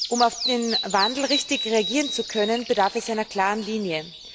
Um auf den Wandel richtig reagieren zu können, bedarf es einer klaren Linie.